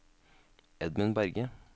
Edmund Berge